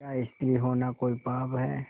क्या स्त्री होना कोई पाप है